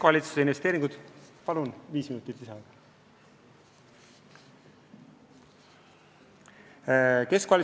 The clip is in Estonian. Palun viis minutit lisaaega!